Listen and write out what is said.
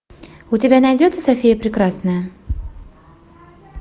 у тебя найдется софия прекрасная